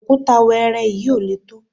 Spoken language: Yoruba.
òkúta wẹ́ẹ́rẹ́ yìí ò lè tó